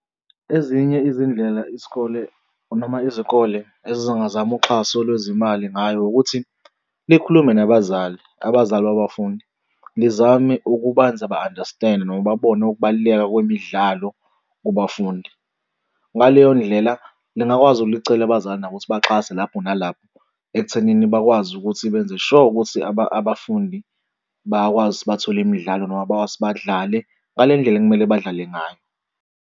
Ezinye izindlela isikole noma izikole ezingazama uxhaso lwezimali ngayo ukuthi nikhulume nabazali, abazali babafundi lizamile ukubenza ba-understand-e noma babone ukubaluleka kwemidlalo kubafundi. Ngaleyo ndlela lingakwazi ukuthi licele abazali ukuthi baxhase lapho nalapho ekuthenini bakwazi ukuthi benze sure ukuthi abafundi bayakwazi ukuthi bathole imidlalo noma bakwazi ukuthi badlale ngale ndlela ekumele badlale ngayo.